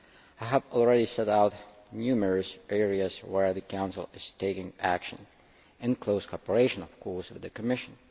I have already set out numerous areas where the Council is taking action, in close cooperation, of course, with the Commission.